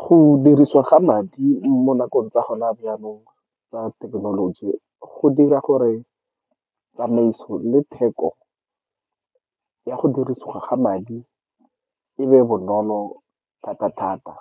Go dirisiwa ga madi mo nakong tsa gona jaanong tsa thekenoloji go dira gore tsamaiso le theko ya go dirisiwa ga madi e be bonolo thata-thata.